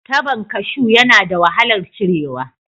Tabon kashu yana da wahalar cirewa